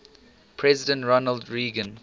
president ronald reagan